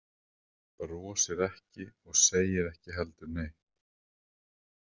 Brosir ekki og segir ekki heldur neitt.